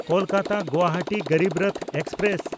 ᱠᱳᱞᱠᱟᱛᱟ–ᱜᱳᱣᱟᱦᱟᱴᱤ Garib Rath express